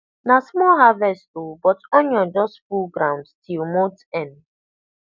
na small harvest o but onion just full ground till month end